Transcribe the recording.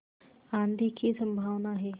आँधी की संभावना है